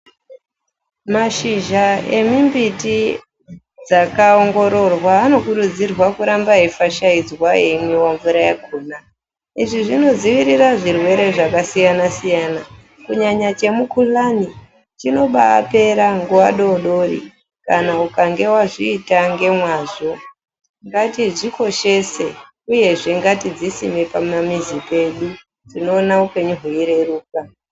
Mashizha emwimbiti dzakaongororwa, anokurudzirwa kuramba eifashaidzwa eimwiwa mvura yakona. Izvi zvinodziirira zvirwere zvakasiyana-siyana, kunyanya chemukuhlani, chinobapera nguva dori-dori kana ukange wazviita ngemwazvo. Ngatidzikoshese uyezve ngatidzisime pamamizi pedu. Tinoona upenyu hweireruka.